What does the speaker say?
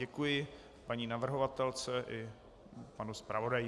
Děkuji paní navrhovatelce i panu zpravodaji.